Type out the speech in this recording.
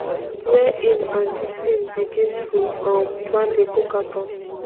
wey im and di team begin to um plan di cookathon